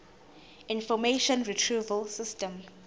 information retrieval system